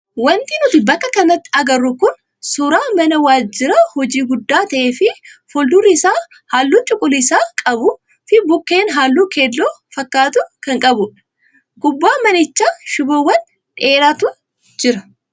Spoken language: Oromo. Wanti nuti bakka kanatti agarru kun suuraa mana waajjira hojii guddaa ta'ee fi fuuldurri isaa halluu cuquliisa qabuu fi bukkeen halluu keelloo fakkatu kan qabudha. Gubbaa manichaa shiboowwan dheeraatu jira.